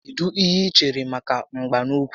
Kedụ ihe i chere maka mgba n'úkwù